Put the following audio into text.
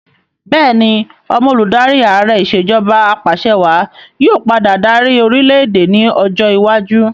Bẹẹni, ọmọ olùdarí Ààrẹ ìsèjọba apàṣẹwà yí ọ padà dárí orìlẹ̀-èdè ni ọjọ́ iwájú